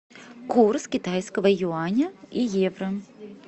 курс китайского юаня и евро